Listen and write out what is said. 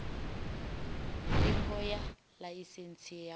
ndingo ya ḽaisentsi ya u